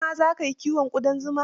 Kai ma za ka yi kiwon ƙudan zuman?